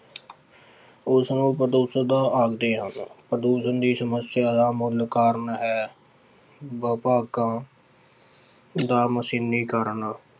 ਉਸਨੂੰ ਆਖਦੇ ਹਨ, ਪ੍ਰਦੂਸ਼ਣ ਦੀ ਸਮੱਸਿਆ ਦਾ ਮੂਲ ਕਾਰਨ ਹੈ ਵਿਭਾਗਾਂ ਦਾ ਮਸ਼ੀਨੀਕਰਨ